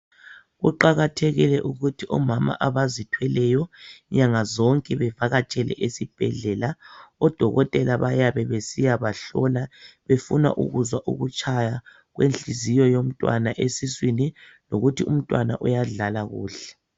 Kuqakathekile ukuthi omama abazithweleyo nyangazonke bevakatshele ezibhedlela odokotela bayabe besiyabahlola befuna ukuzwa ukutshaya kwenhliziyo yomntwana esiswini lokuthi umntwana uyadlala kuhle.